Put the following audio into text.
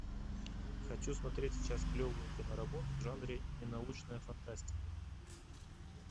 хочу смотреть сейчас клевую киноработу в жанре ненаучная фантастика